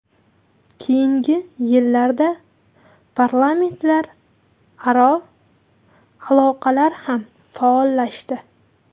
Keyingi yillarda parlamentlararo aloqalar ham faollashdi.